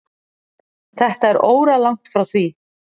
Þetta er óralangt frá því.